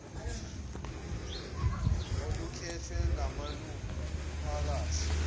olukhethwe ngamalungu omphakathi